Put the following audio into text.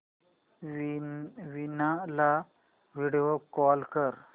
वीणा ला video call कर